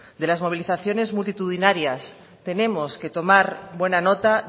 de las movilizaciones multitudinarias tenemos que tomar buena nota